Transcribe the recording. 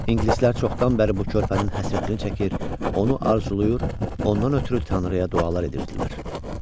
İngilislər çoxdan bəri bu körpənin həsrətini çəkir, onu arzulayır, ondan ötrü Tanrıya dualar edirdilər.